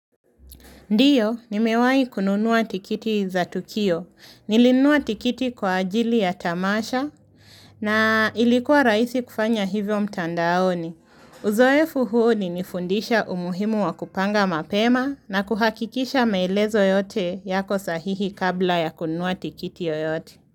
Ndiyo, nimewahi kununua tikiti za Tukio. Nilinunua tikiti kwa ajili ya Tamasha na ilikuwa rahisi kufanya hivyo mtandaoni. Uzoefu huo ulinifundisha umuhimu wa kupanga mapema na kuhakikisha maelezo yote yako sahihi kabla ya kununua tikiti yoyote.